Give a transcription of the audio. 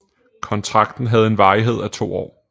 Kontrakten havde en varighed af to år